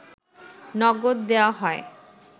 নগদ দেওয়া হয়